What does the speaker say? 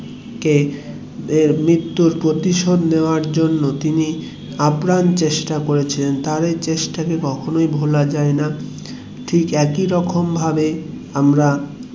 এর মৃত্যুর প্রতিশোধ নেওয়ার জন্য তিনি আপ্রাণ চেষ্টা করেছিলেন তার এই চেষ্টা কে কখনোই ভোলা যায়না ঠিক একই রকম ভাবে আমরা